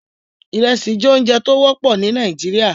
Iresi jẹ ounjẹ ti o wọpọ ni Nigeria